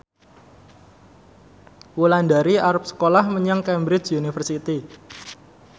Wulandari arep sekolah menyang Cambridge University